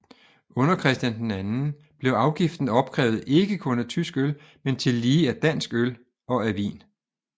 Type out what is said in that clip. Under Christian II blev afgiften opkrævet ikke kun af tysk øl men tillige af dansk øl og af vin